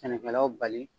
Sɛnɛkɛlaw bali